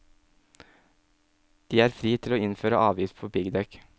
De er fri til å innføre avgift på piggdekk.